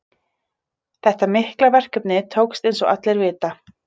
Þetta mikla verkefni tókst eins og allir vita.